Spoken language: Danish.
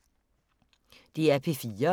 DR P3